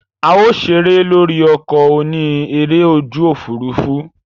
A o sere lori oko oni ere oju ofurufu.